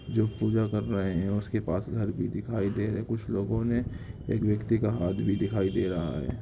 जो पूजा कर रहे हैं उसके पास घर भी दिखाई दे रहे कुछ लोगों ने एक व्यक्ति का हाथ भी दिखाई दे रहा है।